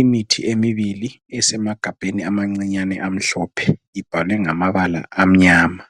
Imithi emibili esemagabheni amancinyane amhlophe ibhalwe ngamabala amnyama.